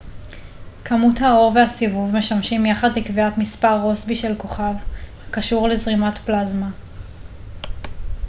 כמות האור והסיבוב משמשים יחד לקביעת מספר רוסבי של כוכב הקשור לזרימת פלזמה